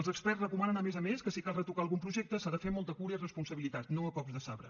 els experts recomanen a més a més que si cal retocar algun projecte s’ha de fer amb molta cura i responsabilitat no a cops de sabre